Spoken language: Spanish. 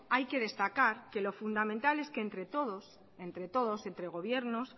hay que destacar que lo fundamental es que entre todos entre gobiernos